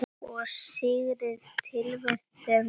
Ég syrgði tilveru mína.